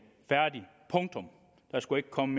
færdig punktum der skulle ikke komme